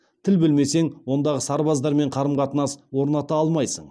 тіл білмесең ондағы сарбаздармен қарым қатынас орната алмайсың